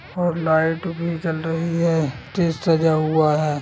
Light जल रही है और स्टेज भी सजा हुआ है।